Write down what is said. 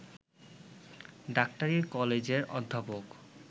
ডাক্তারী-কলেজের অধ্যাপক